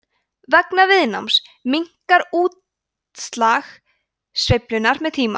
vegna viðnáms minnkar útslag sveiflnanna með tíma